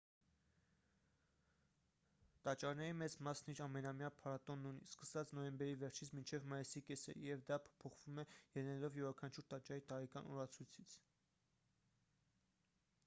տաճարների մեծ մասն իր ամենամյա փառատոնն ունի սկսած նոյեմբերի վերջից մինչև մայիսի կեսերը և դա փոփոխվում է ելնելով յուրաքանչյուր տաճարի տարեկան օրացույցից